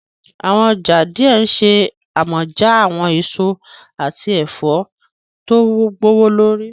Awọn ọja diẹ nṣe amọja awọn eso ati ẹfọ to gbowolori.